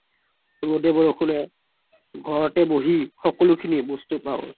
ৰদে বৰষুণ নে ঘৰত বহি সকলো বস্তু খিনি পাও